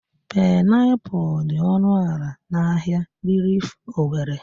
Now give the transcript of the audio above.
Painapụl dị ọnụ ala n'ahia rilif Owere.